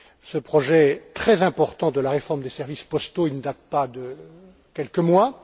Ce projet très important de la réforme des services postaux ne date pas de quelques mois.